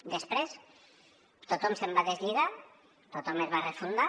després tothom se’n va deslligar tothom es va refundar